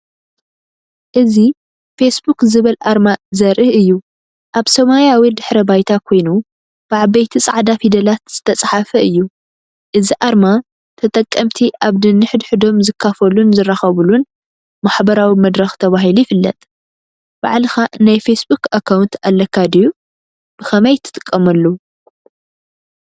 እዚ “ፌስቡክ” ዝብል ኣርማ ዘርኢ እዩ። ኣብ ሰማያዊ ድሕረ ባይታ ኮይኑ ብዓበይቲ ጻዕዳ ፊደላት ዝተጻሕፈ እዩ። እዚ ኣርማ ተጠቀምቲ ኣብ ነንሕድሕዶም ዝካፈሉን ዝራኸብሉን ማሕበራዊ መድረኽ ተባሂሉ ይፍለጥ። ባዕልኻ ናይ ፌስቡክ ኣካውንት ኣለካ ድዩ? ብኸመይ ትጥቀመሉ?